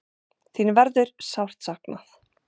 Þin verður sárt saknað.